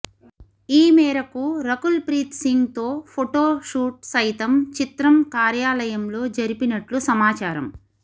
ఈ మేరకు రకుల్ ప్రీతి సింగ్ తో ఫొటో షూట్ సైతం చిత్రం కార్యాలయంలో జరిపినట్లు సమాచారం